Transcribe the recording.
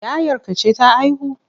Yayarka ce ta haihu?